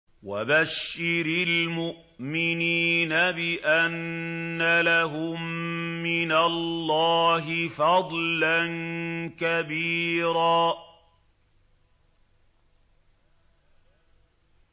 وَبَشِّرِ الْمُؤْمِنِينَ بِأَنَّ لَهُم مِّنَ اللَّهِ فَضْلًا كَبِيرًا